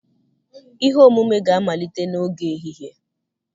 ihe omume ga-amalite n'oge ehihie